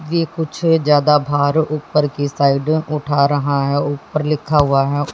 ये कुछ ज्यादा भार ऊपर की साइड उठा रहा है ऊपर लिखा हुआ है।